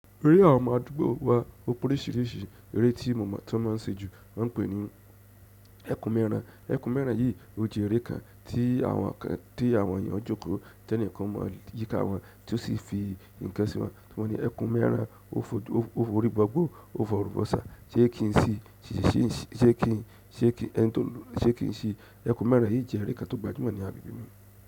Eré àwọn ọmọ àdúgbò wa, o pe oríṣìíríṣìí eré tíi mo mo ti won ma ń ṣe ju, wọ́n pè é ní ẹku mẹ́ran. Ẹku mẹ́ran yìí, ó jẹ́ eré kan tí àwọn ènìyàn jókòó jẹ́ ní nǹkan mọ yíká wọn, tí ó sì fi nǹkan sí wọn. Tí wọ́n ni ẹ̀kun mẹ́ran, ó fò orí gbogbo, ó fòrun gbọ̀sá, ṣé kí n sí, ṣé kí ẹni tó ń lù ú ṣé kí n sí. Ẹku mẹ́ran yìí jẹ́ eré kan tó gbajúmọ̀ ní agbègbè mi.